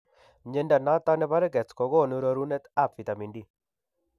Mnyondo noton nebo Rickets kogonu rorunet ab vitamin D